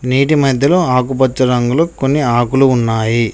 నేటి మధ్యలో ఆకుపచ్చ రంగులు కొన్ని ఆకులు ఉన్నాయి.